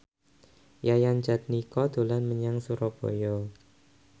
Yayan Jatnika dolan menyang Surabaya